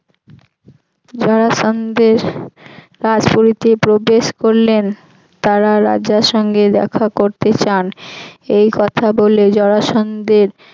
জরাসন্ধের পুরীতে প্রবেশ করলেন তারা রাজার সঙ্গে দেখা করতে চান এই কথা বলে জরাসন্ধের